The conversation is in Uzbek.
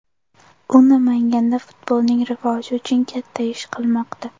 U Namanganda futbolning rivoji uchun katta ish qilmoqda.